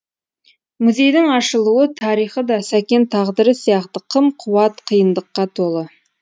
музейдің ашылу тарихы да сәкен тағдыры сияқты қым қуыт қиындыққа толы